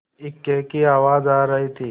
इक्के की आवाज आ रही थी